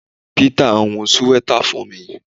Peter n hun siweta fun mi